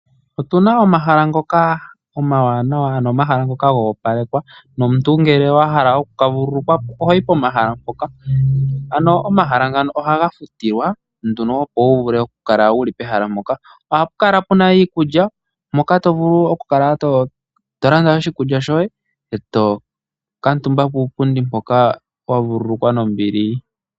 Otu na omahala ngoka omawanawa, ano omahala ngoka go opalekwa nomuntu ngele wa hala oku ka vululukwa po oho yi pomahala mpoka. Omahala ngaka ohaga futilwa nduno, opo wu vule okukala wu li pehala mpoka. Ohapu kala pu na iikulya moka to vulu okukala to landa oshikulya shoye e to kuutumba puupundi mpoka wa vululukwa nombili.